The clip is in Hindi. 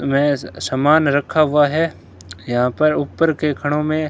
में सामान रखा हुआ है यहां पर ऊपर के खनो में--